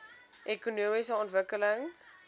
ekonomiese ontwikkeling